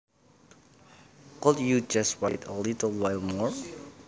Could you just wait a little while more